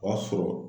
O y'a sɔrɔ